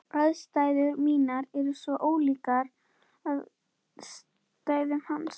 Aðstæður mínar eru svo ólíkar aðstæðum hans.